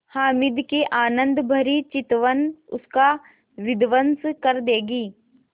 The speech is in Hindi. हामिद की आनंदभरी चितवन उसका विध्वंस कर देगी